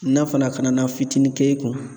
N'a fana ka na na fitinin k'e kun na.